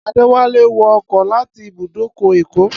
Adéwálé wọ ọkọ láti ibùdókọ̀ Èkó